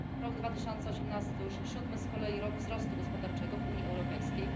Rok 2018 to już siódmy z kolei rok wzrostu gospodarczego w Unii Europejskiej.